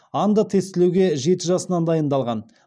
андо тестілеуге жеті жасынан дайындалған